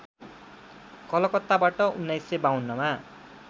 कलकत्ताबाट १९५२ मा